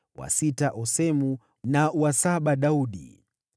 wa sita Osemu, na wa saba Daudi.